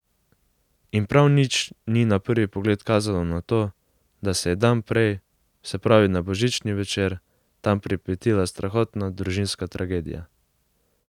In prav nič ni na prvi pogled kazalo na to, da se je dan prej, se pravi na božični večer, tam pripetila strahotna družinska tragedija.